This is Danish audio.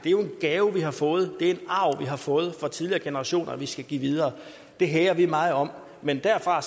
gave vi har fået det er en arv vi har fået fra tidligere generationer og som vi skal give videre det hæger vi meget om men derfor